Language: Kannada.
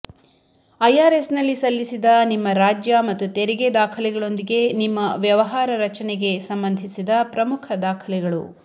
ಐಆರ್ಎಸ್ನಲ್ಲಿ ಸಲ್ಲಿಸಿದ ನಿಮ್ಮ ರಾಜ್ಯ ಮತ್ತು ತೆರಿಗೆ ದಾಖಲೆಗಳೊಂದಿಗೆ ನಿಮ್ಮ ವ್ಯವಹಾರ ರಚನೆಗೆ ಸಂಬಂಧಿಸಿದ ಪ್ರಮುಖ ದಾಖಲೆಗಳು